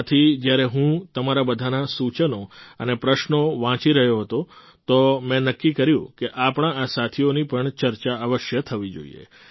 આથી જ્યારે હું તમારા બધાના સૂચનો અને પ્રશ્નો વાંચી રહ્યો હતો તો મેં નક્કી કર્યું કે આપણા આ સાથીઓની પણ ચર્ચા અવશ્ય થવી જોઈએ